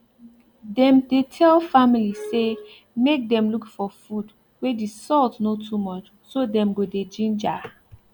dem dey tell family say make dem look for food wey the salt no too much so dem go dey ginger